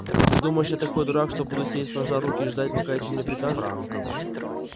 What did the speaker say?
ты думаешь я такой дурак что буду сидеть сложа руки и ждать пока эти мне прикажут